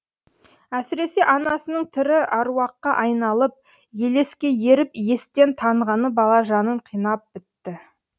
әсіресе анасының тірі аруаққа айналып елеске еріп естен танғаны бала жанын қинап бітті